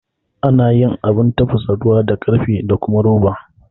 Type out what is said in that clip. Ana yin Abun tafasa ruwa da karfe da kuma roba